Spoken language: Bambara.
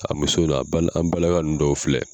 A muso dɔw an bala an balaka ninnu dɔw filɛ